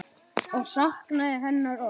Og saknaði hennar oft.